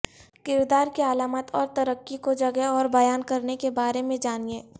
کردار کی علامات اور ترقی کو جگہ اور بیان کرنے کے بارے میں جانیں